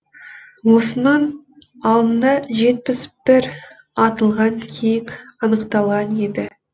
осының алдында жетпіс бір атылған киік анықталған еді